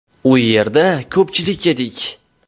U yerda ko‘pchilik edik.